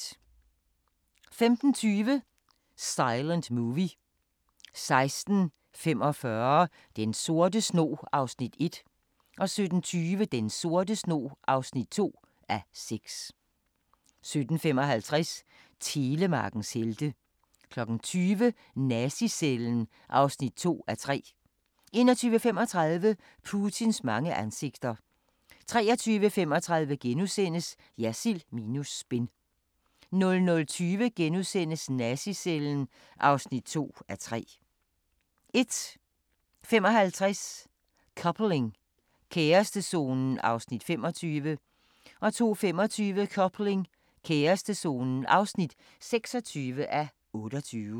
15:20: Silent Movie 16:45: Den sorte snog (1:6) 17:20: Den sorte snog (2:6) 17:55: Telemarkens helte 20:00: Nazi-cellen (2:3) 21:35: Putins mange ansigter 23:35: Jersild minus spin * 00:20: Nazi-cellen (2:3)* 01:55: Coupling – kærestezonen (25:28) 02:25: Coupling – kærestezonen (26:28)